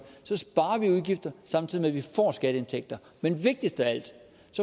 sparer vi udgifter samtidig med at vi får skatteindtægter men vigtigst af alt